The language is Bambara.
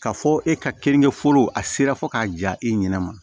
K'a fɔ e ka keninge foro a sera fo k'a ja e ɲɛna